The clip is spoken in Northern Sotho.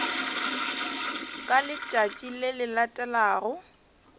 ka letšatši le le latelago